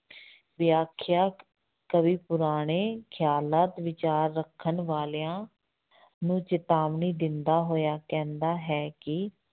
ਵਿਆਖਿਆ, ਕਵੀ ਪੁਰਾਣੇ ਖਿਆਲਾਤ ਵਿਚਾਰ ਰੱਖਣ ਵਾਲਿਆਂ ਨੂੰ ਚੇਤਾਵਨੀ ਦਿੰਦਾ ਹੋਇਆ ਕਹਿੰਦਾ ਹੈ ਕਿ